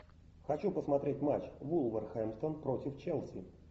хочу посмотреть матч вулверхэмптон против челси